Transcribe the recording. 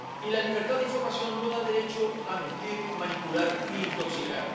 Y la libertad de información no da derecho a mentir, manipular ni intoxicar.